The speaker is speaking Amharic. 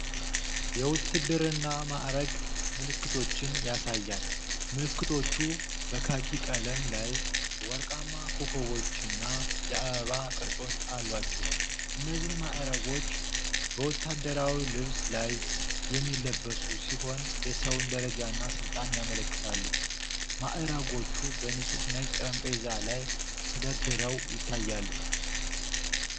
የውትድርና ማዕረግ ምልክቶችን ያሳያል። ምልክቶቹ በካኪ ቀለም ላይ ወርቃማ ኮከቦችና የአበባ ቅርጾች አሏቸው። እነዚህ ማዕረጎች በወታደራዊ ልብስ ላይ የሚለበሱ ሲሆን የሰውን ደረጃና ሥልጣን ያመለክታሉ። ማዕረጎቹ በንጹህ ነጭ ጠረጴዛ ላይ ተደርድረው ይታያሉ።